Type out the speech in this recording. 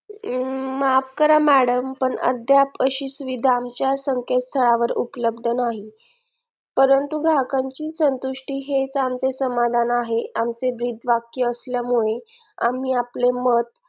माफ करा madam पण अद्याप अशी सुविधा आमच्या संकेतस्थाळावर उपलब्ध नाही परंतु ग्राहकाची संतुष्टी हेच आमचे समाधान आहे आमचे ब्रीदवाक्य असल्यामुळे आम्ही आपले मत